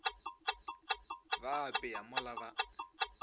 ba a apea mola ba